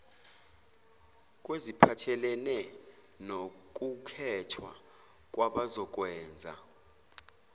kweziphathelene nokukhethwa kwabazokwenza